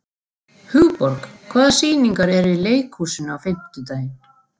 Hugborg, hvaða sýningar eru í leikhúsinu á fimmtudaginn?